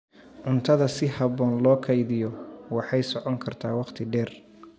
Cuntada si habboon loo kaydiyo waxay socon kartaa waqti dheer.